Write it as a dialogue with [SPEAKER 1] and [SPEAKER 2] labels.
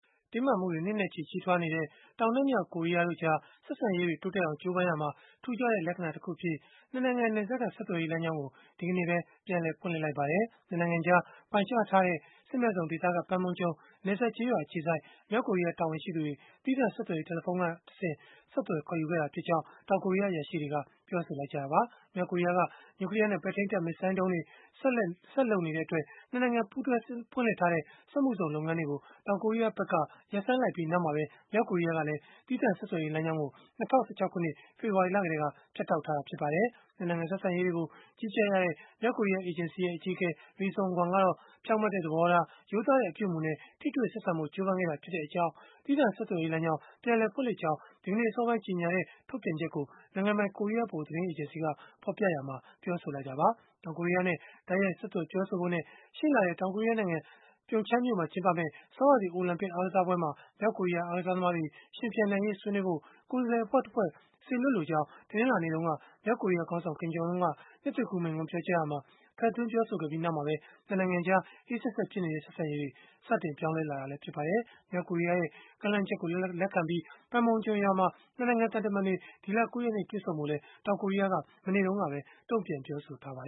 [SPEAKER 1] တင်းမာမှုတွေ နှစ်နဲ့ချီ ကြီးထွားနေတဲ့ တောင်နဲ့မြောက် ကိုရီးယားတို့ကြား ဆက်ဆံရေးတွေ တိုးတက်အောင် ကြိုးပမ်းရာမှာ ထူးခြားတဲ့ လက္ခဏာတခုအဖြစ် ၂ နိုင်ငံ နယ်စပ်က ဆက်သွယ်ရေးလမ်းကြောင်းကို ဒီကနေ့ပဲ ပြန်လည်ဖွင့်လှစ်လိုက်ပါတယ်။ ၂ နိုင်ငံကြား ပိုင်းခြားထားတဲ့ စစ်မဲ့ဇုန်ဒေသက Panmunjom နယ်စပ်ကျေးရွာ အခြေစိုက် မြောက်ကိုရီးယား တာဝန်ရှိသူတွေ၊ သီးသန့် ဆက်သွယ်ရေး တယ်လီဖုန်းလိုင်းကတဆင့် ဆက်သွယ်ခေါ်ယူခဲ့တာဖြစ်ကြောင်း တောင်ကိုရီးယား အရာရှိတွေက ပြောဆိုခဲ့ကြတာပါ။ မြောက်ကိုရီးယားက နျူကလီးယားနဲ့ ပဲ့ထိန်းတပ်ဒုံးစမ်းသပ်မှုတွေ ဆက်လုပ်နေတဲ့အတွက် ၂ နိုင်ငံ ပူးတွဲဖွင့်လှစ်ထားတဲ့ စက်မှုဇုန်လုပ်ငန်းတွေကို တောင်ကိုရီးယားဘက်က ရပ်ဆိုင်းလိုက်ပြီး နောက်မှာပဲ မြောက်ကိုရီးယားကလည်း သီးသန့်ဆက်သွယ်ရေး လမ်းကြောင်းကို ၂၀၁၆ ခုနှစ် ဖေဖော်ဝါရီလကတည်းက ဖြတ်တောက်ခဲ့တာ ဖြစ်ပါတယ်။ ၂ နိုင်ငံ ဆက်ဆံရေးတွေကို ကြီးကြပ်ရတဲ့ မြောက်ကိုရီးယား အေဂျင်စီရဲ့ အကြီးအကဲ Ri Son Gwon ကတော့ ဖြောင့်မတ်တဲ့ သဘောထား၊ ရိုးသားတဲ့ အပြုအမူနဲ့ ထိတွေ့ဆက်ဆံဖို့ ကြိုးပမ်းခဲ့တာဖြစ်ကြောင်း သီးသန့်ဆက်သွယ်ရေးလမ်းကြောင်း ပြန်လည်ဖွင့်လှစ်ကြောင်း ဒီကနေ့အစောပိုင်း ကြေညာခဲ့တဲ့ ထုတ်ပြန်ချက်ကို နိုင်ငံပိုင် ကိုရီးယား ဗဟိုသတင်းအေဂျင်စီက ဖော်ပြရာမှာ ပြောဆိုခဲ့တာပါ။ တောင်ကိုရီးယားနဲ့ တိုက်ရိုက်ဆက်သွယ် ပြောဆိုဖို့နဲ့ ရှေ့လထဲ တောင်ကိုရီးယားနိုင်ငံ Pyeongchang မြို့မှာ ကျင်းပမယ့် ဆောင်းရာသီ အိုလံပစ် အားကစားပွဲမှာ မြောက်ကိုရီးယားအားကစားသမားတွေ ယှဉ်ပြိုင်နိုင်ရေး ဆွေးနွေးဖို့ ကိုယ်စားလှယ် အဖွဲ့တဖွဲ့ စေလွှတ်လိုကြောင်း တနင်္လာနေ့တုန်းက မြောက်ကိုရီးယားခေါင်းဆောင် Kim Jong Un က နှစ်သစ်ကူးမိန့်ခွန်း ပြောကြားရာမှာ ထည့်သွင်းပြောဆိုခဲ့ပြီး နောက်မှာပဲ ၂ နိုင်ငံကြား အေးစက်စက်ဖြစ်နေတဲ့ ဆက်ဆံရေးတွေ စတင်ပြောင်းလဲလာခဲ့တာလည်း ဖြစ်ပါတယ်။ မြောက်ကိုရီးယားရဲ့ ကမ်းလှမ်းချက်ကို လက်ခံပြီး Panmunjom ရွာမှာ ၂ နိုင်ငံ သံတမန်တွေ ဒီလ ၉ ရက်နေ့ တွေ့ဆုံဖို့လည်း တောင်ကိုရီးယားက မနေ့တုန်းကပဲ တုန့်ပြန်ပြောဆိုထားပါ